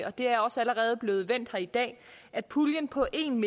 og det er også allerede blevet vendt her i dag at puljen på en